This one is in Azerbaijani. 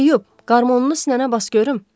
Teyyub, qarmonunu sinənə bas görüm.